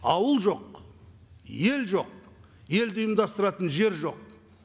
ауыл жоқ ел жоқ елді ұйымдастыратын жер жоқ